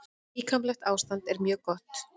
Líkamlegt ástand er mjög gott.